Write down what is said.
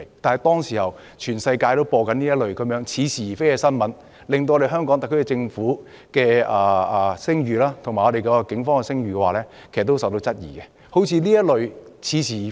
當時全世界也在報道這些似是而非的新聞，令香港特區政府及警方的聲譽備受質疑。